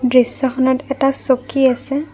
দৃশ্যখনত এটা চকী আছে।